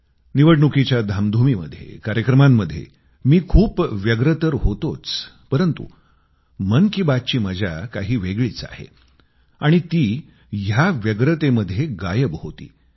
निवडणुकीच्या धामधुमीमध्ये कार्यक्रमांमध्ये मी खूप व्यस्त तर होतोच परंतु मन की बातची मजा काही वेगळीच आहे आणि ती या व्यस्ततेमध्ये गायब होती